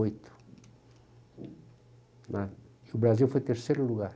oito, né. E o Brasil foi terceiro lugar.